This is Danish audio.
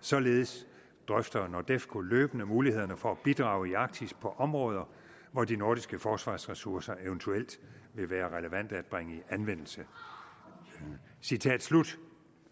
således drøfter nordefco løbende mulighederne for at bidrage i arktis på områder hvor de nordiske forsvarsressourcer eventuelt vil være relevante at bringe i anvendelse citat slut